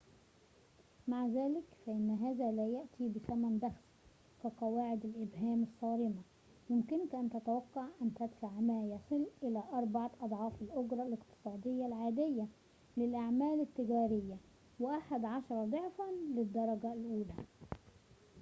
مع ذلك فإن هذا لا يأتي بثمن بخس كقواعد الإبهام الصارمة يمكنك أن تتوقع أن تدفع ما يصل إلى أربعة أضعاف الأجرة الاقتصادية العادية للأعمال التجارية وأحد عشر ضعفاً للدرجة الأولى